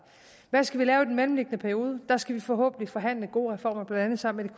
hvad skal vi lave i den mellemliggende periode der skal vi forhåbentlig forhandle gode reformer blandt andet sammen